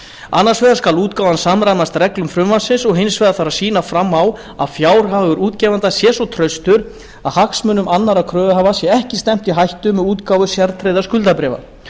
annars vegar skal útgáfan samræmast reglum frumvarpsins og hins vegar þarf að sýna fram á að fjárhagur útgefanda sé svo traustur að hagsmunum annarra kröfuhafa sé ekki stefnt í hættu með útgáfu sértryggðra skuldabréfa